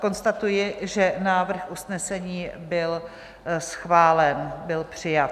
Konstatuji, že návrh usnesení byl schválen, byl přijat.